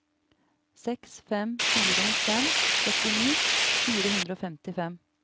seks fem fire fem førtini fire hundre og femtifem